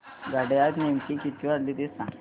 घड्याळात नेमके किती वाजले ते सांग